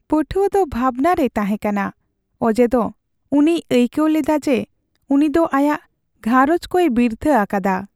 ᱯᱟᱹᱴᱷᱩᱣᱟᱹ ᱫᱚ ᱵᱷᱟᱵᱽᱱᱟ ᱨᱮᱭ ᱛᱟᱦᱮᱸ ᱠᱟᱱᱟ ᱚᱡᱮᱫᱚ ᱩᱱᱤᱭ ᱟᱹᱭᱠᱟᱹᱣ ᱞᱮᱫᱟ ᱡᱮ ᱩᱱᱤᱫᱚ ᱟᱭᱟᱜ ᱜᱷᱟᱸᱨᱚᱡᱽ ᱠᱚᱭ ᱵᱤᱨᱛᱷᱟᱹ ᱟᱠᱟᱫᱟ ᱾